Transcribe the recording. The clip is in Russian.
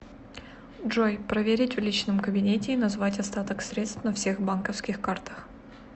джой проверить в личном кабинете и назвать остаток средств на всех банковских картах